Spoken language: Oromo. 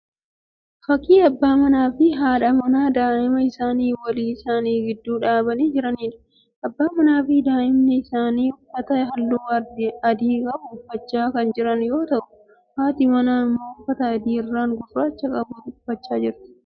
Fakkii abbaa manaa fi haadha manaa daa'ima isaanii walii isaanii gidduu dhaabanii jiraniidha. Abbaan manaa fi daa'imni isaanii uffata halluu adii qabu uffachaa kan jiran yoo ta'u haati manaa immoo uffata adii irraan gurraacha qabu uffacha jirti.